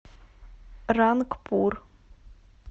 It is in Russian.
рангпур